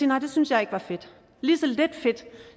nej det synes jeg ikke var fedt lige så lidt fedt